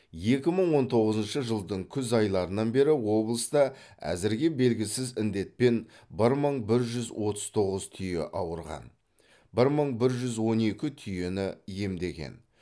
екі мың он тоғызыншы жылдың күз айларынан бері облыста әзірге белгісіз індетпен бір мың бір жүз отыз тоғыз түйе ауырған бір мың бір жүз он екі түйені емдеген